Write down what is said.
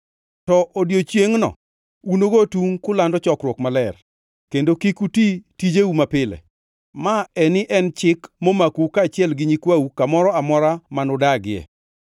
To odiechiengʼno unugo tungʼ kulando chokruok maler, kendo kik uti tijeu mapile. Maeni en chik momakou kaachiel gi nyikwau kamoro amora manudagie.